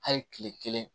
Hali kile kelen